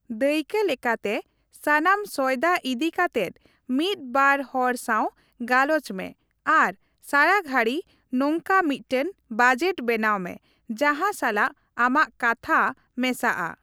ᱫᱟᱹᱭᱠᱟᱹᱞᱮᱠᱟᱛᱮ, ᱥᱟᱱᱟᱢ ᱥᱚᱭᱫᱟ ᱤᱫᱤ ᱠᱟᱛᱮᱫ ᱢᱤᱫ ᱵᱟᱨ ᱦᱚᱲ ᱥᱟᱶ ᱜᱟᱞᱚᱪ ᱢᱮ ᱟᱨ ᱥᱟᱨᱟᱜᱷᱟᱹᱲᱤ ᱱᱚᱝᱠᱟ ᱢᱤᱫᱴᱟᱝ ᱵᱟᱡᱮᱴ ᱵᱮᱱᱟᱣ ᱢᱮ ᱡᱟᱸᱦᱟ ᱥᱟᱞᱟᱜ ᱟᱢᱟᱜ ᱠᱟᱛᱷᱟ ᱢᱮᱥᱟᱜᱼᱟ ᱾